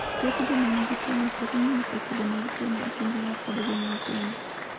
Thoth joma nigi tuwono chako nyiso kido mag tuwono e kinde ma pod gin nyithindo.